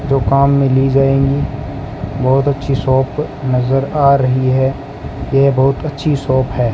जो काम मे ली जायेंगी बहोत अच्छी शॉप नज़र आ रही है ये बहोत अच्छी शॉप है।